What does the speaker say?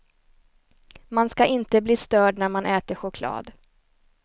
Man ska inte bli störd när man äter choklad.